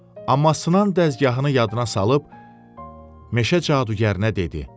Amma sınan dəzgahını yadına salıb meşə cadugərinə dedi.